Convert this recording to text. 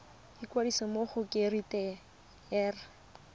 ikwadisa mo go kereite r